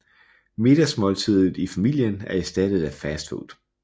Middagsmåltidet i familien er erstattet af fast food